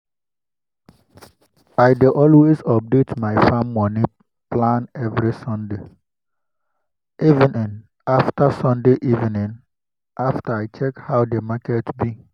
i dey always update my farm moni plan every sunday evening after sunday evening after i check how the market be